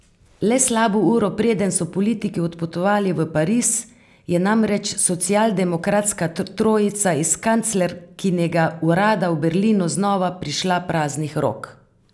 Le slabo uro preden so politiki odpotovali v Pariz, je namreč socialdemokratska trojica iz kanclerkinega urada v Berlinu znova prišla praznih rok.